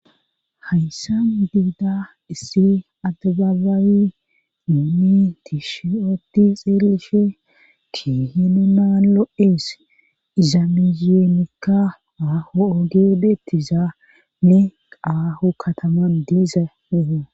hayssa biida issi adbaabaawi muumi tii shiyooti xeelishe ki hinu naan lo7ees iza miyiyoonikka aho ogeodetizane qaaho kataman diiza huho